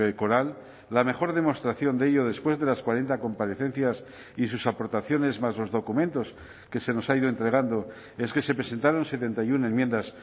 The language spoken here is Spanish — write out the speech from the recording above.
coral la mejor demostración de ello después de las cuarenta comparecencias y sus aportaciones más los documentos que se nos ha ido entregando es que se presentaron setenta y uno enmiendas